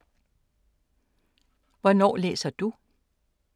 Hvornår læser du?